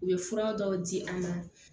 U ye fura dɔw di an ma